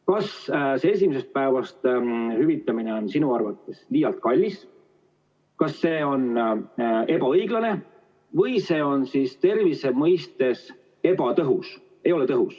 Kas esimesest päevast hüvitamine on sinu arvates liialt kallis, kas see on ebaõiglane või see on tervise mõistes ebatõhus?